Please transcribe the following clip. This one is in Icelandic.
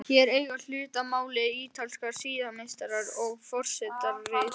Hér eiga hlut að máli ítalskir siðameistarar og forsetaritari.